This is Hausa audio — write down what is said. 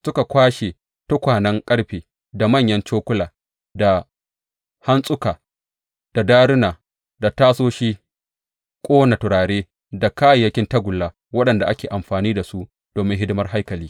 Suka kwashe tukwanen ƙarfe, da manyan cokula, da hantsuka, da daruna, da tasoshin ƙona turare, da kayayyakin tagulla waɗanda ake amfani da su domin hidimar haikali.